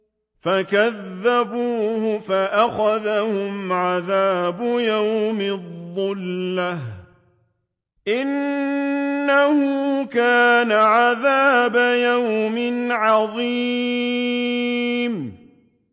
فَكَذَّبُوهُ فَأَخَذَهُمْ عَذَابُ يَوْمِ الظُّلَّةِ ۚ إِنَّهُ كَانَ عَذَابَ يَوْمٍ عَظِيمٍ